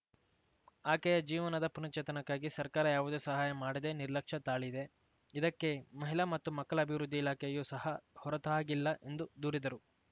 ಆಕೆಯ ಜೀವನದ ಪುನಶ್ಚೇತನಕ್ಕಾಗಿ ಸರ್ಕಾರ ಯಾವುದೇ ಸಹಾಯ ಮಾಡದೆ ನಿರ್ಲಕ್ಷ್ಯ ತಾಳಿದೆ ಇದಕ್ಕೆ ಮಹಿಳಾ ಮತ್ತು ಮಕ್ಕಳ ಅಭಿವೃದ್ಧಿ ಇಲಾಖೆಯು ಸಹ ಹೊರತಾಗಿಲ್ಲ ಎಂದು ದೂರಿದರು